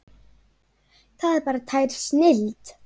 Það er bara tær snilld.